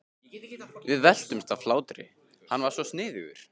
Við veltumst um af hlátri, hann var svo sniðugur.